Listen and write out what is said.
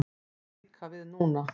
Það á líka við núna.